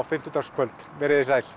fimmtudagskvöld veriði sæl